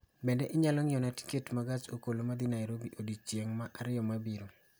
Be inyalo ng'iewona tiket ma gach okoloma dhi Nairobi odiechieng' ma ariyo mabiro